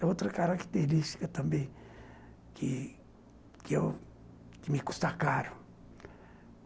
É outra característica também que que eu que me custa caro.